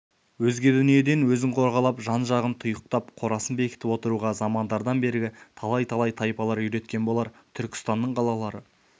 өзге дүниеден өзін қорғалап жан-жағын тұйықтап қорасын бекітіп отыруға замандардан бергі талай-талай талайлар үйреткен болар түркістанның қалалары